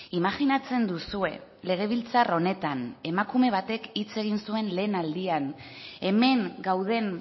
imajinatzen duzue legebiltzar honetan emakume batek hitz egin zuen lehen aldian hemen gauden